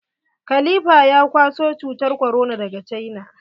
Khalifa ya kwaso cutar korona daga cina.